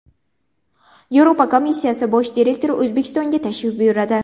Yevropa komissiyasi bosh direktori O‘zbekistonga tashrif buyuradi.